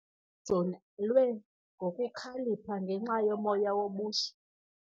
Amajoni alwe ngokukhalipha ngenxa yomoya wobuzwe.